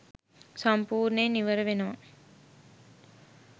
සම්පූර්ණයෙන් ඉවර වෙනවා